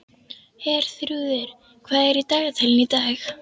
Herþrúður, hvað er í dagatalinu í dag?